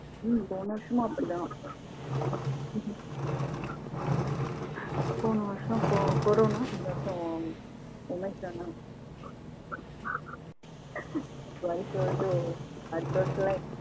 ஹம் போன வருசமும் அப்படி தான் போன வருஷம் கொரானா இந்த வருஷம் ஓமைக்கிறானா? வருஷம் வருஷம் அடுத்த வருஷம் ல